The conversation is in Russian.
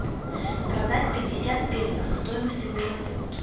продать пятьдесят песо стоимость обмена на фунт